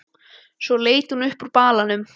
Svo leit hún upp úr balanum.